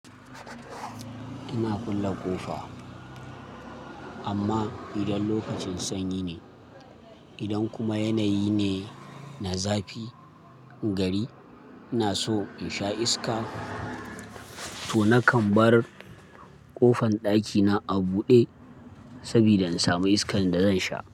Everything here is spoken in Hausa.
Ina kulle ƙofa, amma idan lokacin sanyi ne, idan kuma yanayi ne na zafi gari, ina so in sha iska, to nakan bar ƙofan ɗakina a buɗe saboda in sami iskan da zan sha.